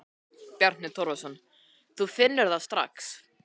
Bjarni Torfason: Þú finnur það strax?